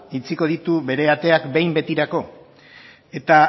itxiko ditu bere ateak behin betirako eta